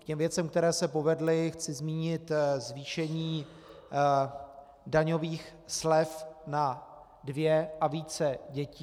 K těm věcem, které se povedly, chci zmínit zvýšení daňových slev na dvě a více dětí.